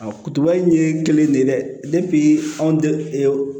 A kutuba in ye kelen de ye dɛ anw